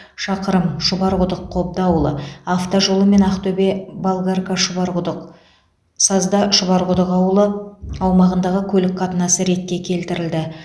шақырым шұбарқұдық қобда ауылы автожолы мен ақтөбе болгарка шұбарқұдық сазда шұбарқұдық ауылы аумағындағы көлік қатынасы ретке келтірілді